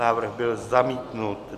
Návrh byl zamítnut.